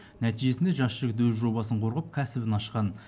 нәтижесінде жас жігіт өз жобасын қорғап кәсібін ашқан